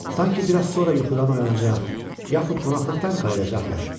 Sanki biraz sonra yuxudan oyanacaq, yaxud qonaqlıqdan qayıdacaqlar.